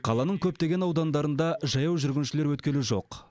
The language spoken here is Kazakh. қаланың көптеген аудандарында жаяу жүргіншілер өткелі жоқ